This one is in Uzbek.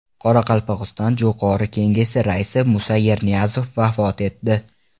Qoraqalpog‘iston Jo‘qorg‘i Kengesi raisi Musa Yerniyazov vafot etdi.